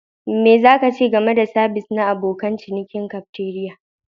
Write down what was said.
Me za ka ce game da sabis na abokan cinikin cafeteria?